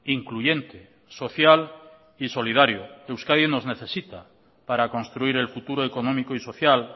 incluyente social y solidario euskadi nos necesita para construir el futuro económico y social